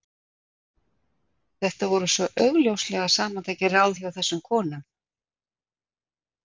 Þetta voru svo augljóslega samantekin ráð hjá þessum konum.